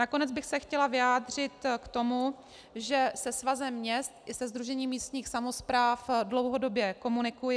Nakonec bych se chtěla vyjádřit k tomu, že se Svazem měst i se Sdružením místních samospráv dlouhodobě komunikuji.